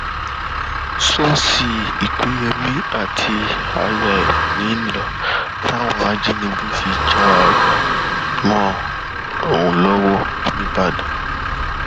ṣọọṣì lpẹyẹmi àtiyayá ẹ ń lò táwọn ajìnígbé fi já a a gbà mọ ọn lọwọ nìbàdàn